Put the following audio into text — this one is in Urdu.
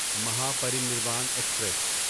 مہاپرینیروان ایکسپریس